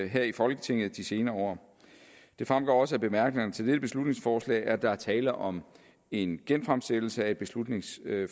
her i folketinget i de senere år det fremgår også af bemærkningerne til dette beslutningsforslag at der er tale om en genfremsættelse af et beslutningsforslag